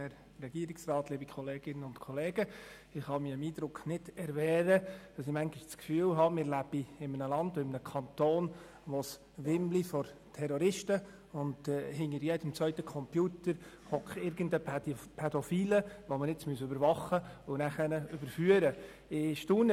Ich kann mich des Eindrucks nicht erwehren, dass wir in einem Land beziehungsweise in einem Kanton leben, in welchem es vor Terroristen wimmelt und in welchem hinter jedem zweiten Computer ein Pädophiler sitzt, den man überwachen und überführen muss.